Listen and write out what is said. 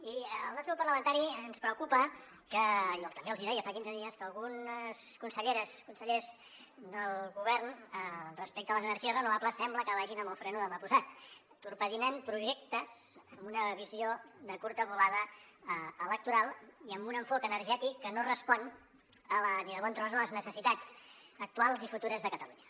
i al nostre grup parlamentari ens preocupa jo també els hi deia fa quinze dies que algunes conselleres i consellers del govern respecte a les energies renovables sembla que vagin amb el fre de mà posat torpedinen projectes amb una visió de curta volada electoral i amb un enfocament energètic que no respon ni de bon tros a les necessitats actuals i futures de catalunya